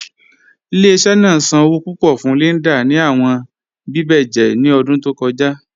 Ile-iṣẹ naa san owo pupọ fun Linda ni awọn bíbẹ̀jẹ̀ ni ọdun tó kọja.